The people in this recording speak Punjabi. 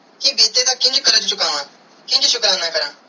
ਕੇ ਬੀਤੇ ਦਾ ਕਿੰਜ ਕਾਰਜ ਚੁਕਾਵੈ ਕਿੰਜ ਸ਼ੁਕਰਾਨਾ ਕਰਾ